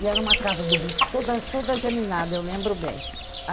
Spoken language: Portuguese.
E era uma casa do bispo, toda toda germinada, eu lembro bem.